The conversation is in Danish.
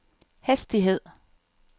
hastighed